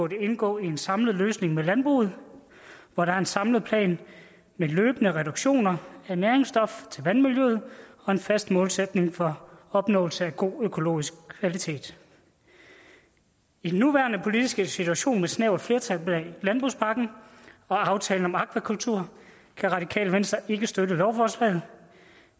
indgå i en samlet løsning med landbruget hvor der er en samlet plan med løbende reduktion af næringsstoffer til vandmiljøet og en fast målsætning for opnåelse af god økologisk kvalitet i den nuværende politiske situation med et snævert flertal bag landbrugspakken og aftalen om akvakultur kan radikale venstre ikke støtte lovforslaget